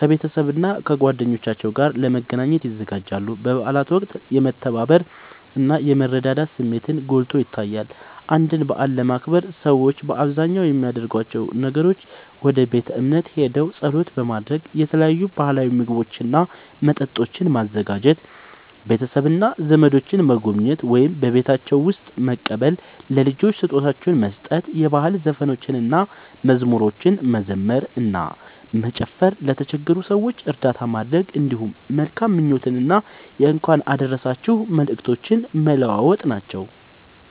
ከቤተሰብና ከጓደኞቻቸው ጋር ለመገናኘት ይዘጋጃሉ። በበዓላት ወቅት የመተባበር እና የመረዳዳት ስሜትን ጎልቶ ይታያል። አንድን በዓል ለማክበር ሰዎች በአብዛኛው የሚያደርጓቸው ነገሮች፦ ወደ ቤተ እምነት ሄደው ጸሎት ማድረግ፣ የተለያዩ ባህላዊ ምግቦችና መጠጦችን ማዘጋጀ፣ ቤተሰብና ዘመዶችን መጎብኘት ወይም በቤታቸው መቀበል፣ ለልጆች ስጦታዎችን መስጠት፣ የባህል ዘፈኖችንና መዝሙሮችን መዘመር እና መጨፈር፣ ለተቸገሩ ሰዎች እርዳታ ማድረግ፣ እንዲሁም መልካም ምኞቶችንና የእንኳን አደረሳችሁ መልእክቶችን መለዋወጥ ናቸዉ።